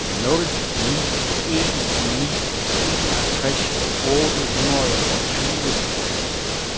nul ni en ni enogtres otte hundrede og tyve